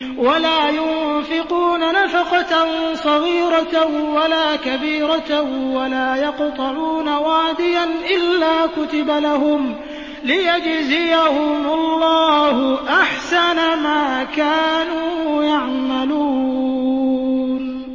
وَلَا يُنفِقُونَ نَفَقَةً صَغِيرَةً وَلَا كَبِيرَةً وَلَا يَقْطَعُونَ وَادِيًا إِلَّا كُتِبَ لَهُمْ لِيَجْزِيَهُمُ اللَّهُ أَحْسَنَ مَا كَانُوا يَعْمَلُونَ